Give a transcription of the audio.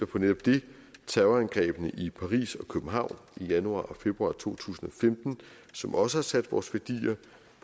på netop det terrorangrebene i paris og københavn i januar og februar to tusind og femten som også har sat vores værdier